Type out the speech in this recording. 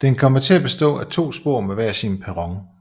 Den kommer til at bestå af to spor med hver sin perron